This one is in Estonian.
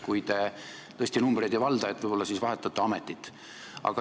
Kui te tõesti numbreid ei valda, võib-olla siis vahetate ametit.